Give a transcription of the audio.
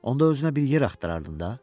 Onda özünə bir yer axtarardın da.